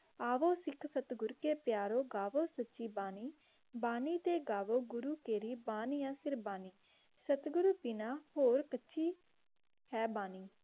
आवो सिख साथ गुर के पियरों गावो सूचि बनर्जी बानी ते गावो केहरि बानी एसी साथ गुरो बिना होर पीछा है क़ुर्बान बहोत वाडिया जी.